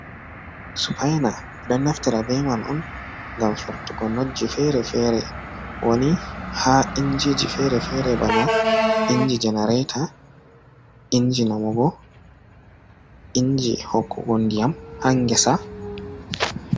Supaina be don naftira be man on ngam firtugo notji fere fere woni ha injiji fere fere bana inji jenarata inji namogo inji hokkugo ndiyam ha ngesa.